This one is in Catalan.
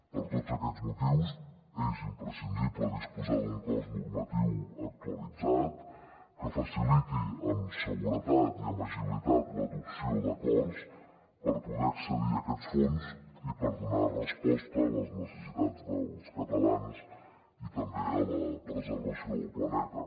per tots aquests motius és imprescindible disposar d’un cos normatiu actualitzat que faciliti amb seguretat i amb agilitat l’adopció d’acords per poder accedir a aquests fons i per donar resposta a les necessitats dels catalans i també a la preservació del planeta